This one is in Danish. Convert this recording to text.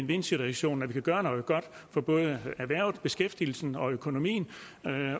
vind situation at vi kan gøre noget godt for både erhvervet beskæftigelsen og økonomien